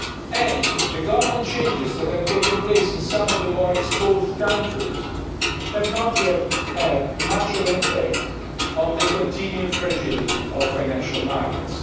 And the government changes that have taken place in some of the more exposed countries have not yet had much of an effect on the continuing fragility of financial markets.